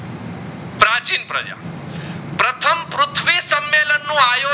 લીલન નું આયો